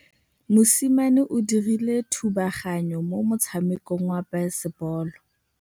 Mosimane o dirile thubaganyô mo motshamekong wa basebôlô.